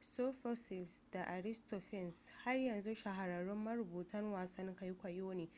sophocles da aristophanes har yanzu shahararrun marubutan wasan kwaikwayo ne